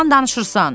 Yalan danışırsan!